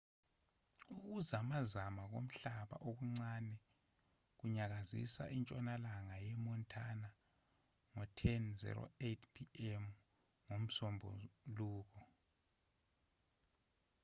ukuzamazama komhlaba okuncane kwanyakazisa intshonalanga ye-montana ngo-10 08 p.m. ngomsombuluko